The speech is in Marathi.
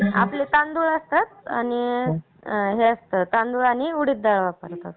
आपलं तांदूळ असतं आणि हे असतं तांदूळ आणि उडिद डाळ असतं ..